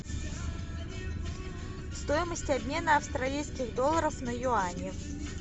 стоимость обмена австралийских долларов на юани